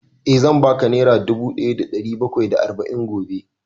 Eh, zan ba ka nera dubu ɗaya da ɗari bakwai da arba'in gobe